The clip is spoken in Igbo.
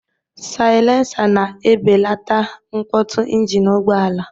Saịlensa na-ebelata mkpọtụ njini ụgbọala.